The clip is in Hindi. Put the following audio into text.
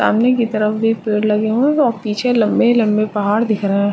सामने की तरफ भी पेड़ लगे हुए हैं और पीछे लंबे-लंबे पहाड़ दिख रहें हैं।